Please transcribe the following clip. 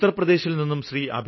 ഉത്തര്പ്രദേശില്നിന്നും Shri